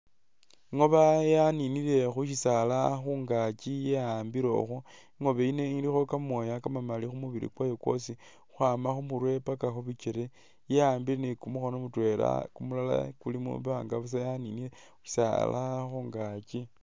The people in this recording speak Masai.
Ingoba yaninile khusisaala khungaaki ingobe yino ilikho kamooya kamamaali khumubili kwayo kwosi khukhwama khumurwe paka khupikele ya'ambile ni kumukhono mutwela kumulala kuli mwimbanga buusa yaninile khu'bisaala khungaakyi